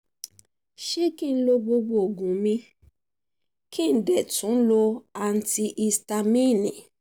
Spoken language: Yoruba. ṣé kí n lo gbogbo oògùn mi kí n dẹ̀ tún tún lo antihisitamíìnì